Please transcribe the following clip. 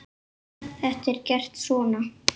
Þetta er gert svona